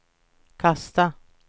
kasta